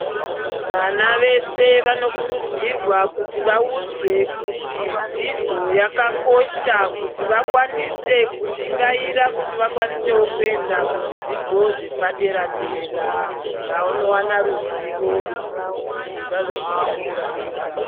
Vana vese vanokurudzirwa kuti vaudzwe kuti dzidzo yakakosha kuti vakwanise kushingaira kuti vakwanisewo kuenda kuzvidzidzo zvepadera dera kuti vawane ruzivo kuti vazozvishandira vega.